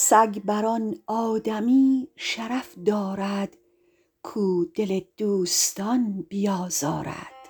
سگ بر آن آدمی شرف دارد کاو دل دوستان بیازارد